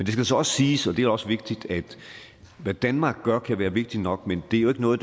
skal så også siges og det er også vigtigt at hvad danmark gør kan være vigtigt nok men det er jo ikke noget